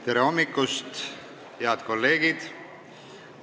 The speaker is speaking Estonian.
Tere hommikust, head kolleegid!